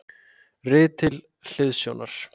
Rit til hliðsjónar: